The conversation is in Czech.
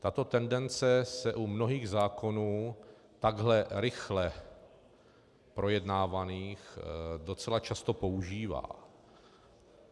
Tato tendence se u mnohých zákonů takhle rychle projednávaných docela často používá.